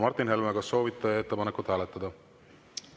Martin Helme, kas soovite ettepanekut hääletada?